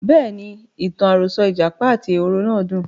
Bẹ́ẹ̀ni, ìtàn àròsọ ìjàpá àti ehoro náà dùn.